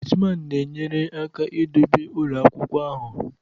Gateman na-enyere aka idobe ụlọ akwụkwọ ahụ.